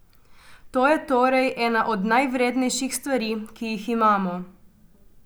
To je torej ena od najvrednejših stvari, ki jih imamo.